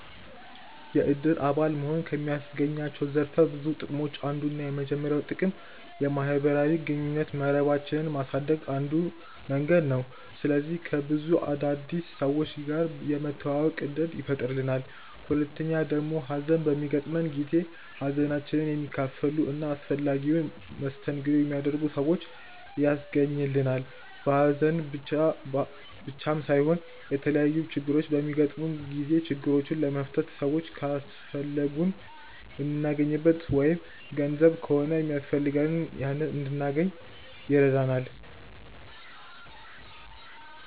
የእድር አባል መሆን ከሚያስገኛቸው ዘርፈ ብዙ ጥቅሞች አንዱና የመጀመሪያው ጥቅም የማህበራዊ ግንኙነት መረባችንን ማሳደግያ አንዱ መንገድ ነው። ስለዚህ ከብዙ አዳዲስ ሰዎች ጋር የመተዋወቅ እድልን ይፈጥርልናል። ሁለተኛው ደግሞ ሀዘን በሚገጥመን ጊዜ ሀዘናችንን የሚካፈሉ እና አስፈላጊውን መስተንግዶ የሚያደርጉ ሰዎችን ያስገኝልናል። በሀዘን ብቻም ሳይሆን የተለያዩ ችግሮች በሚገጥሙን ጊዜ ችግሮቹን ለመፍታት ሰዎች ካስፈለጉን የምናገኝበት ወይም ገንዘብ ከሆነ ሚያስፈልገን ያንን እንድናገኝ ይረዳናል።